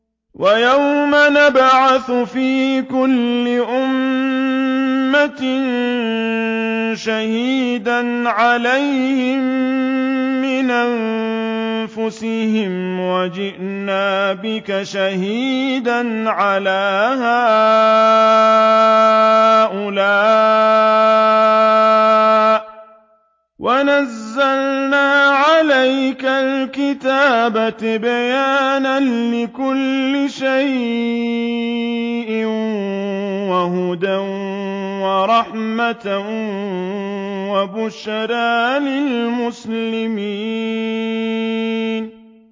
وَيَوْمَ نَبْعَثُ فِي كُلِّ أُمَّةٍ شَهِيدًا عَلَيْهِم مِّنْ أَنفُسِهِمْ ۖ وَجِئْنَا بِكَ شَهِيدًا عَلَىٰ هَٰؤُلَاءِ ۚ وَنَزَّلْنَا عَلَيْكَ الْكِتَابَ تِبْيَانًا لِّكُلِّ شَيْءٍ وَهُدًى وَرَحْمَةً وَبُشْرَىٰ لِلْمُسْلِمِينَ